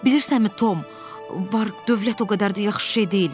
Bilirsənmi, Tom, var-dövlət o qədər də yaxşı şey deyilmiş.